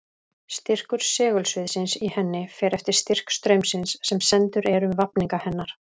Styrkur segulsviðsins í henni fer eftir styrk straumsins sem sendur er um vafninga hennar.